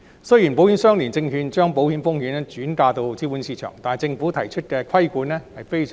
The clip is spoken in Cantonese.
雖然保險相連證券將保險風險轉移至資本市場，但政府提出的規管非常嚴格。